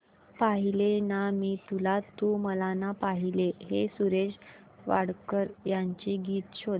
पाहिले ना मी तुला तू मला ना पाहिले हे सुरेश वाडकर यांचे गीत शोध